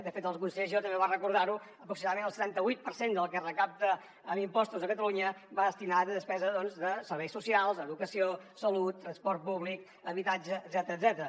de fet el conseller giró també va recordar ho aproximadament el setanta vuit per cent del que es recapta en impostos a catalunya va destinat a despesa de serveis socials educació salut transport públic habitatge etcètera